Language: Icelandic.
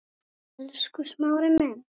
Elsku Smári minn.